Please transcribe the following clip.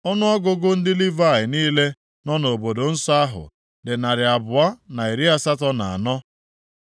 Ọnụọgụgụ ndị Livayị niile nọ na obodo nsọ ahụ dị narị abụọ na iri asatọ na anọ (284).